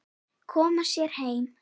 Koma sér heim.